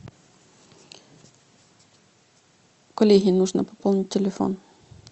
коллеге нужно пополнить телефон